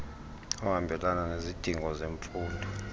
ohambelana nezidingo zemfundo